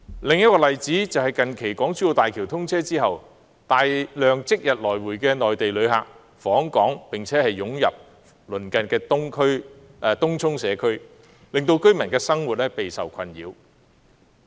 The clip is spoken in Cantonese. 另一個例子是近期港珠澳大橋通車後，大量即日來回的內地旅客訪港並湧入鄰近的東涌社區，令居民的生活備受困擾。